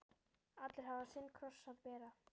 Allir hafa sinn kross að bera.